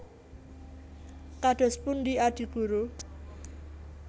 Kados pundi Adi Guru